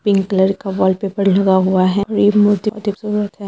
Pink colour का wallpaper लगा हुआ है और एक मूर्ति है।